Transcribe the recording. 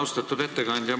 Austatud ettekandja!